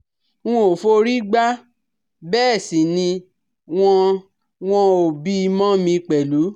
N ò forí gbá bẹ́ẹ̀ sì ni wọn wọn ò bí i mọ́ mi pẹ̀lú